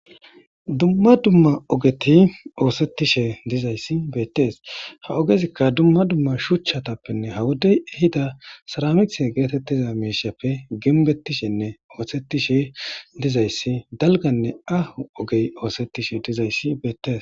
Dumma dumma ogeti oosettishe dizayssi bettees ha ogezikka dumma dumma shuchchatappenne hawodey ehida saramiqise geetettiza meeshappe genbettishenne oosettishe dizayssi dalganne ahu ogey oosettishe dizayssi beettes.